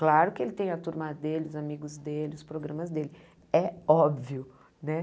Claro que ele tem a turma dele, os amigos dele, os programas dele, é óbvio, né?